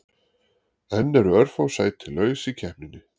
Enn eru örfá sæti laus í keppninni.